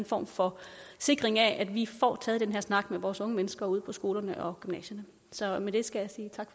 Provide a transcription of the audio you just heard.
form for sikring af at vi får taget den her snak med vores unge mennesker ude på skolerne og gymnasierne så med det skal